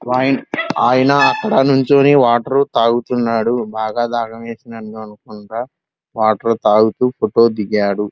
ఆయన అక్కడ నుంచొని వాటర్ తాగుతున్నాడు బాగా దాహం వేసింది అనుకుంట వాటర్ తాగుతూ ఫోటో దిగాడు --